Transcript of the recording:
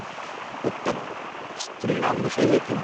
उत्तमम्। स्त्रीणां विषये किम्?